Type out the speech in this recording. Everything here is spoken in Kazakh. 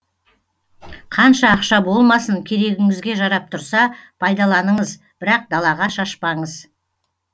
қанша ақша болмасын керегіңізге жарап тұрса пайдаланыңыз бірақ далаға шашпаңыз